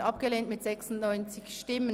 Sie haben den Ordnungsantrag 7 abgelehnt.